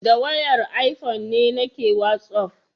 Da wayar ifone nake wasaf